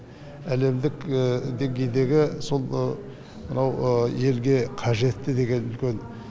әлемдік деңгейдегі сол мынау елге қажетті деген үлкен